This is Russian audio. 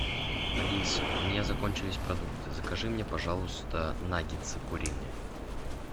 алиса у меня закончились продукты закажи мне пожалуйста наггетсы куриные